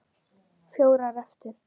Fjórar eftir.